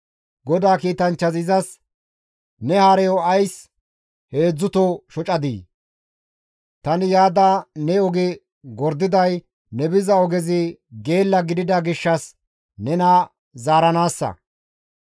GODAA kiitanchchazi izas, «Ne hareyo ays heedzdzuto shocadii? Tani yaada ne oge gordiday ne biza ogezi geella gidida gishshas nena zaaranaassa.